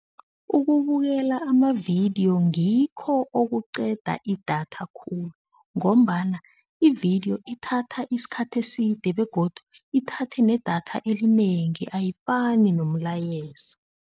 Ukubukela amavidiyo ngikho okuqeda idatha khulu ngombana ividiyo ithatha isikhathi eside begodu ithathe nedatha elinengi ayifani nomlayezo.